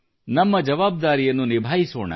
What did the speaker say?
ನಮ್ಮ ಜವಾಬ್ದಾರಿಯನ್ನು ನಿಭಾಯಿಸೋಣ